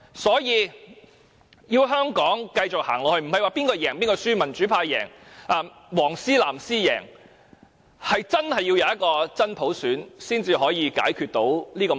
所以，要香港繼續走下去，不是說誰勝誰負，民主派勝、"黃絲"、"藍絲"勝，而是真的要有真普選，才可以解決這個問題。